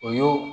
O y'o